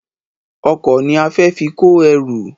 Ọkọ̀ ni a fẹ fi kó ẹrù